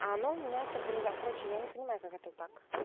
она у меня это короче я не понимаю как это так